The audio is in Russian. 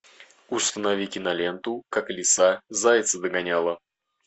установи киноленту как лиса зайца догоняла